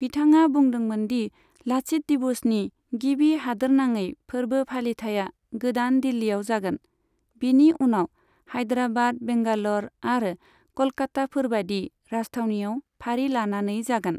बिथाङा बुदोंमोन दि 'लाचित दिवस'नि गिबि हादोरनाङै फोरबो फालिथाया गोदान दिल्लिआव जागोन, बिनि उनाव हायदराबाद, बेंगाल'र आरो कलकाताफोरबादि राजथावनिआव फारि लानानै जागोन।